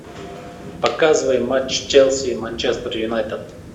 показывай матч челси и манчестер юнайтед